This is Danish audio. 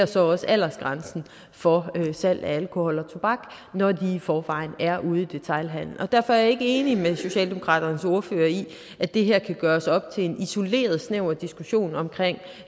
så også er aldersgrænsen for salg af alkohol og tobak når de i forvejen er ude i detailhandelen derfor er jeg ikke enig med socialdemokratiets ordfører i at det her kan gøres op til en isoleret snæver diskussion omkring